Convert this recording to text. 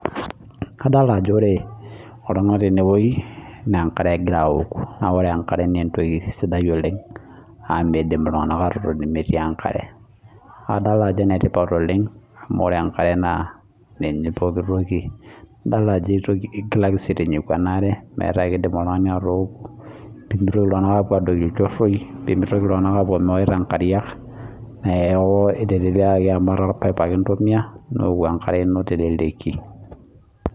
Kadolta ajo ore iltunganak tenewueji naa enkare egira aoku naa ore enkare naa entoki sidai oleng amu midim iltunganak atotoni metii enkare adolta ajo enetipat oleng amu ore enkare naa ninye pokitoki , adolta ajo enyakaki sii aitinyiku enaare metaa idim oltungani atooku pemitoki iltunganak apuo mewaita nkariak niaku iteleleiaki amu etaa orpipe ake intumia nioku enkare ino .